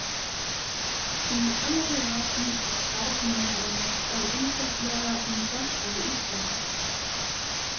Í hennar huga snýst starf nefndarinnar þó einfaldlega um sjálfstæði Íslands.